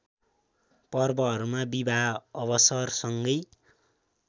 पर्वहरूमा विवाह अवसरसँगै